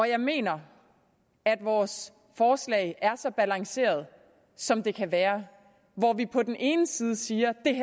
jeg mener at vores forslag er så balanceret som det kan være hvor vi på den ene side siger